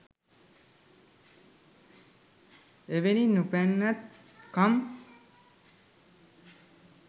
එවැනි නොපනත් කම්